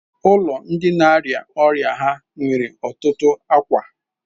ụlọ ndi na-arịa ọrịa ha nwere ọtụtụ akwa.